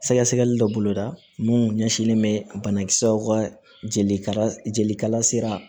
Sɛgɛsɛgɛli dɔ boloda minnu ɲɛsinlen bɛ banakisɛw ka jeli kala jelikala sera